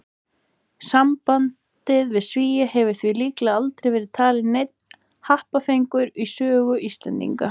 Sambandið við Svía hefur því líklega aldrei verið talinn neinn happafengur í sögu Íslendinga.